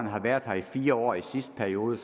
har været her i fire år i sidste periode